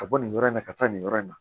Ka bɔ nin yɔrɔ in na ka taa nin yɔrɔ in na